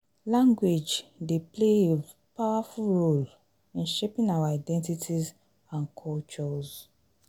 language dey play a powerful role in shaping our identities and cultures.